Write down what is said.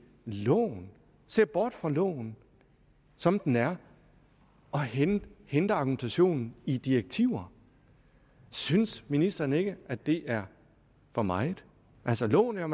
loven ser bort fra loven som den er og henter henter argumentationen i eu direktiver synes ministeren ikke at det er for meget altså loven er